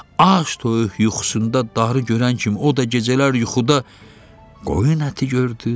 Ac toyuq yuxusunda darı görən kimi o da gecələr yuxuda qoyun əti gördü.